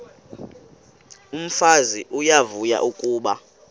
umfazi uyavuya kuba